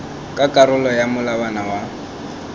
ka karolo ya molawana wa